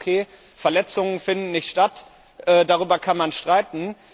Wenn Sie sagen, Verletzungen finden nicht statt, darüber kann man streiten.